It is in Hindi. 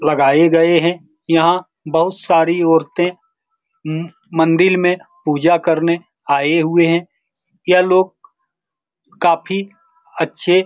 लगाए गए हैं यहाँ बहुत सारी औरतें मम मंदिल में पूजा करने आए हुए हैं यह लोग काफी अच्छे --